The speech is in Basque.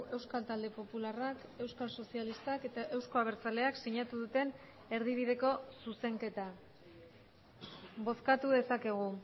euskal talde popularrak euskal sozialistak eta eusko abertzaleak sinatu duten erdibideko zuzenketa bozkatu dezakegu